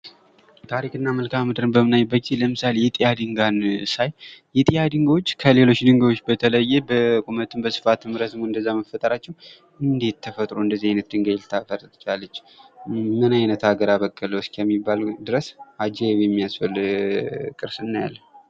ታሪክና መልካምድርን በምናይበት ጊዜ ለምሳሌ:- የጢያ ድንጋይ ሳይ የጢያ ድንጋዮች ከሌሎች ድንጋዮች በተለየ በቁመትም በስፋትም ረዝሞ መፈጠራቸዉ እንዴት ተፈጥሮ እንደዚህ አይነት ድንጋይ ልታስገኝ ቻለች? ምን አይነት አገር አበቀለዉ? እስከሚባል ድረስ አጃኢብ የሚያስብል ቅርስ እናያለን።